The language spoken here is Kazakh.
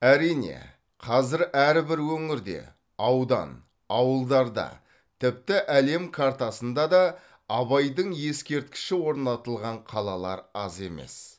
әрине қазір әрбір өңірде аудан ауылдарда тіпті әлем картасында да абайдың ескерткіші орнатылған қалалар аз емес